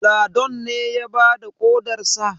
Ladon ne ya bada ƙodarsa?